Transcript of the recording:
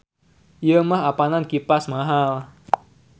Ieu mah apanan kipas mahal.